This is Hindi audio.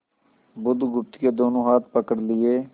बुधगुप्त के दोनों हाथ पकड़ लिए